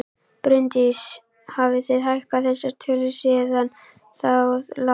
Bryndís: Hafið þið hækkað þessar tölur síðan það lá fyrir?